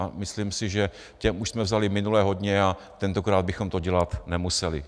A myslím si, že těm už jsme vzali minule hodně a tentokrát bychom to dělat nemuseli.